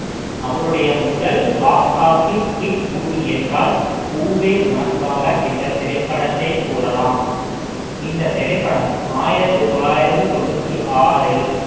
அவருடைய முதல் box office hit movie என்றால் பூவே உனக்காக என்ற திரைப்படத்தை கூறலாம் இந்த திரைப்படம் ஆயிரத்தி தொள்ளாயிரத்தி தொண்ணூத்தி ஆறில்